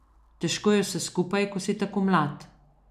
Težko je vse skupaj, ko si tako mlad.